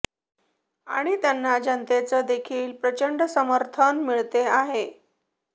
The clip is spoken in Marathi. आणि त्यांना जनतेचं देखील प्रचंड समर्थन मिळते आहे